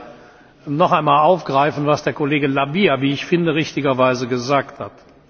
Ich will hier noch einmal aufgreifen, was Kollege La Via wie ich finde richtigerweise gesagt hat.